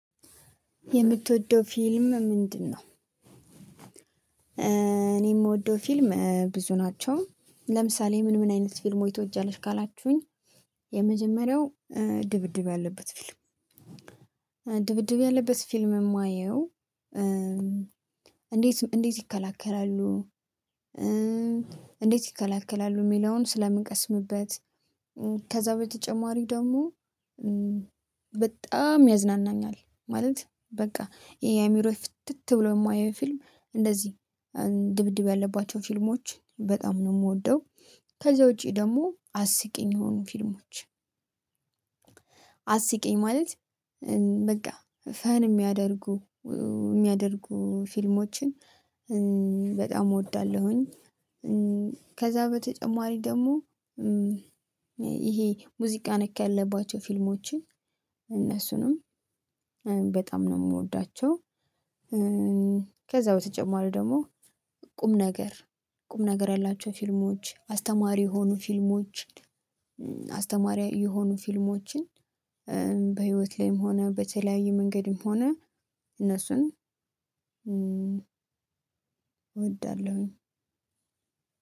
የምትወደው ፊልም ምንድነው? እኔ የምወደው ፊልም ብዙ ናቸው ለምሳሌ ምን ምን አይነት ፊልም ወይ ትወጃለሽ ካላችሁኝ የመጀመሪያው ድብድብ ያለበት ፊልም። ድብድብ ያለበት ፊልም የማየው እንዴት እንዴት ይከላከላሉ እንዴት ይከላከላሉ የሚለውን ስለምቀስምበት። ከዛ በተጨማሪ ደግሞ በጣም ያዝናናኛል ማለት በቃ ዐይምሮዬ ፍትት ብሎ የማየው ፊልም እንደዚህ ድብድብ ያለባቸው ፊልሞች በጣም ነው የምወደው። ከዛ ውጪ ደግሞ አስቂኝ የሆኑ ፊልሞች። አስቂኝ ማለት በቃ ፈን የሚያደርጉ የሚያደርጉ ፊልሞችን በጣም እወዳለሁኝ። ከዛ በተጨማሪ ደግሞ ይሄ ሙዚቃ ነክ ያለባቸው ፊልሞችን እነሱንም በጣም ነው የምወዳቸው። ከዛ በተጨማሪ ደግሞ ቁም ነገር ቁም ነገር ያላቸው ፊልሞች አስተማሪ የሆኑ ፊልሞች አስተማሪ የሆኑ ፊልሞችን። በህይወት ላይም ሆነ በተለያዩ መንገድም ሆነ እነሱን እወዳለሁኝ።